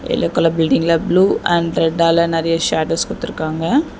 Yellow colour பில்டிங்ல blue and ரெட்டால நெறைய ஷடோஸ் குடுத்துருக்காங்க.